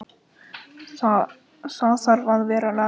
Það þarf að vera lag á því.